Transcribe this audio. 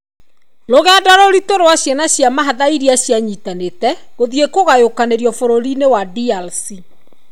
Rũgendo rũritũ rwa ciana cia mahatha iria cianyitanĩtĩ , gũthiĩ kũgayũkanĩrũo bũrũri-inĩ wa DRC.